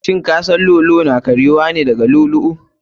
Shin kasan lu'u lu'u na iya karyuwa ne daga llu'u lu'u?